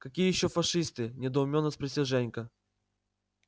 какие ещё фашисты недоумённо спросил женька